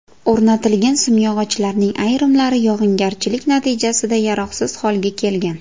O‘rnatilgan simyog‘ochlarning ayrimlari yog‘ingarchilik natijasida yaroqsiz holga kelgan.